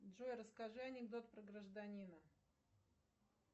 джой расскажи анекдот про гражданина